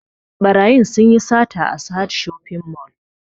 Ɓarayin sun yi sata a sahad shopping mall